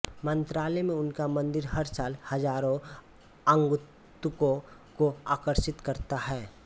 मन्त्रालयम में उनका मंदिर हर साल हजारों आगंतुकों को आकर्षित करता है